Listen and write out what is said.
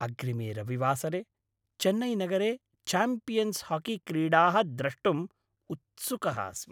अग्रिमे रविवासरे चेन्नैनगरे च्याम्पियन्स् हाकीक्रीडाः द्रष्टुम् उत्सुकः अस्मि।